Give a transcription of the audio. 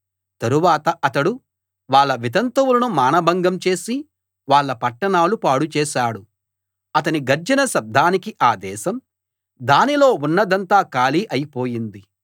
తరువాత అతడు వాళ్ళ వితంతువులను మానభంగం చేసి వాళ్ళ పట్టణాలు పాడు చేశాడు అతని గర్జన శబ్దానికి ఆ దేశం దానిలో ఉన్నదంతా ఖాళీ అయి పోయింది